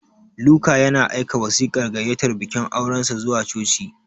Luka yana aika wasiƙar gayyatar bikin aurensa zuwa coci.